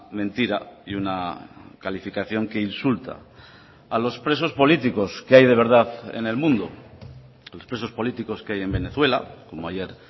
mentira y una calificación que insulta a los presos políticos que hay de verdad en el mundo los presos políticos que hay en venezuela como ayer